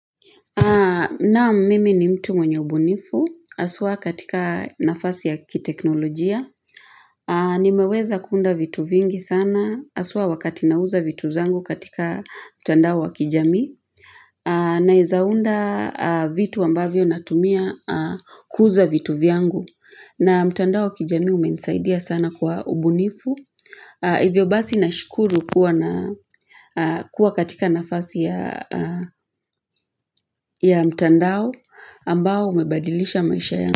Naam, mimi ni mtu mwenye ubunifu haswaa katika nafasi ya kiteknolojia Nimeweza kuunda vitu vingi sana, haswa wakati ninauza vitu zangu katika mtandao wa kijamii Naweza unda vitu ambavyo natumia kuuza vitu vyangu. Na mtandao wa kijamii umenisaidia sana kwa ubunifu. Hivyo basi ninashukuru kuwa na kuwa katika nafasi ya ya mtandao ambao umebadilisha maisha yangu.